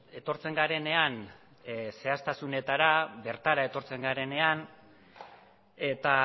etortzen garenean zehaztasunetara bertara etortzen garenean eta